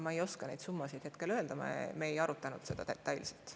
Ma ei oska neid summasid hetkel öelda, me ei arutanud seda nii detailselt.